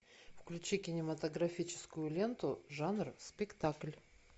включи кинематографическую ленту жанра спектакль